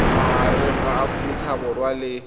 magareng ga aforika borwa le